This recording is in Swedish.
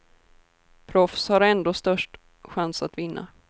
Proffs har ändå störst chans att vinna.